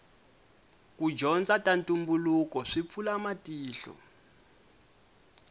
ku dyondza ta ntumbuluko swi pfula matihlo